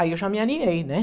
Aí eu já me alinhei, né?